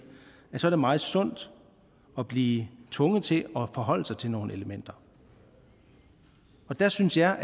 så er meget sundt at blive tvunget til at forholde sig til nogle elementer der synes jeg